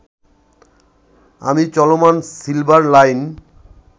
আমি চলমান silver line